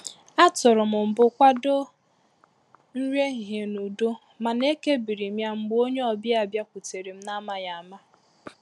A tụrụ m mbụ kwado nri ehihie n'udo mana eke biri m ya mgbe ònye obia bịakwutere m na amaghị ama.